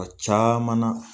caman na